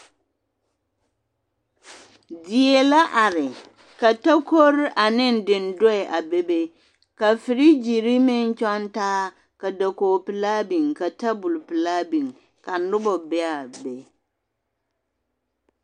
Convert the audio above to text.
Die la are ka takore ane dendoɛ a bebe ka firigyiri meŋ kyɔŋ taa ka dakogipelaa biŋ ka tabol pelaa biŋ ka noba be a be.